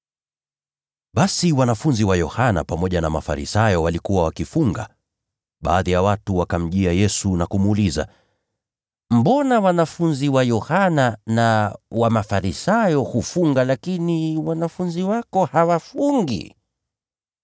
Basi wanafunzi wa Yohana pamoja na Mafarisayo walikuwa wakifunga. Baadhi ya watu wakamjia Yesu na kumuuliza, “Mbona wanafunzi wa Yohana na wa Mafarisayo hufunga lakini wanafunzi wako hawafungi?”